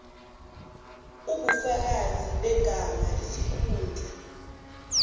ubufakazi begama isikhundla